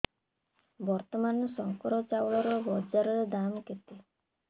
ବର୍ତ୍ତମାନ ଶଙ୍କର ଚାଉଳର ବଜାର ଦାମ୍ କେତେ